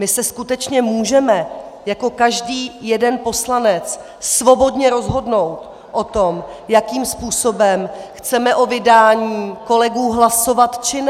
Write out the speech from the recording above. My se skutečně můžeme jako každý jeden poslanec svobodně rozhodnout o tom, jakým způsobem chceme o vydání kolegů hlasovat či ne.